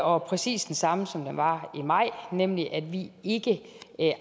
og præcis den samme som den var i maj nemlig at vi ikke